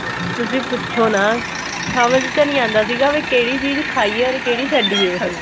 ਤੁਸੀਂ ਪੁੱਛੋ ਨਾ ਸਮਝ ਜਿਹਾ ਨਹੀਂ ਆਂਦਾ ਸੀਗਾ ਵੀ ਕਿਹੜੀ ਚੀਜ ਖਾਈ ਏ or ਕਿਹੜੀ ਛੱਡੀਏ ਅਸੀਂ